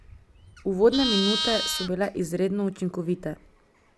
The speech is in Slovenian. Uvodne minute so bile izredno učinkovite.